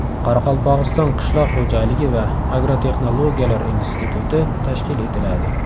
Qoraqalpog‘iston qishloq xo‘jaligi va agrotexnologiyalar instituti tashkil etiladi.